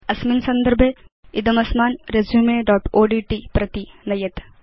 अस्मिन् सन्दर्भे इदम् अस्मान् resumeओड्ट् प्रति नयेत्